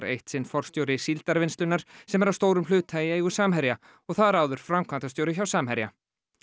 eitt sinn forstjóri Síldarvinnslunnar sem er að stórum hluta í eigu Samherja og þar áður framkvæmdastjóri hjá Samherja